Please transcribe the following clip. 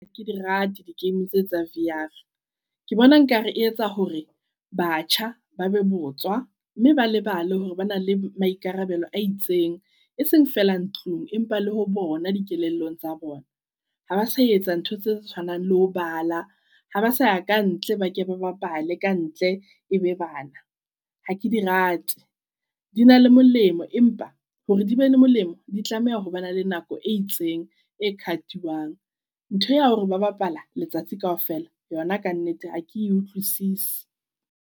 Ha ke di rate di game tse tsa V_R. Ke bona nkare e etsa hore batjha ba be botswa mme ba lebale hore ba na le maikarabelo a itseng. E seng feela ntlung empa le ho bona dikelellong tsa bona. Ha ba sa etsa ntho tse tshwanang le ho bala. Ha ba sa ya kantle, ba ke ba bapale ka ntle e be bana. Ha ke di rate di na le molemo, empa, hore di be le molemo di tlameha hore ba na le nako e itseng e cut-iwang. Ntho ya hore ba bapala letsatsi kaofela yona kannete ha ke e utlwisise.